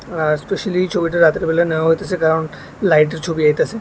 আর specially এই ছবিটা রাতেরবেলা নেওয়া হইতাসে কারণ লাইটের ছবি আইতাসে।